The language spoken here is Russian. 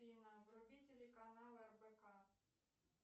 афина вруби телеканал рбк